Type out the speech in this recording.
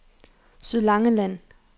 Sydlangeland